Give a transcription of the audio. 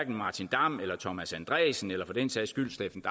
martin damm eller thomas andresen eller for den sags skyld steffen